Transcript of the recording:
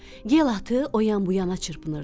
Yel atı o yan-bu yana çırpınırdı.